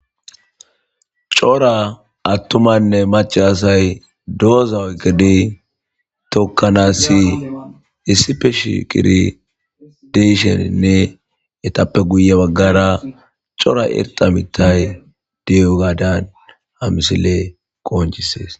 cora attumanne maca asay dooza oykidi tokkanassi issipe shigidi de7isheninne etappe guye baggara cora irxa mithay diyo gaadan ha misile qoncisees